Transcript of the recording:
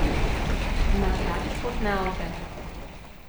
Imate radi športne avte?